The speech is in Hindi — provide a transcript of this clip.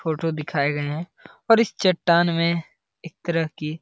फोटो दिखाए गए हैं और इस चट्टान में एक तरह की --